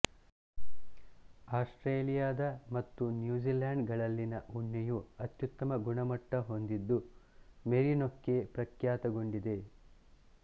Australia ದ ಮತ್ತು New Zealand ಗಳಲ್ಲಿನ ಉಣ್ಣೆಯು ಅತ್ಯುತ್ತಮ ಗುಮಮಟ್ಟ ಹೊಂದಿದ್ದು ಮೆರಿನೊಕ್ಕೆ ಪ್ರಖ್ಯಾತಗೊಂಡಿದೆ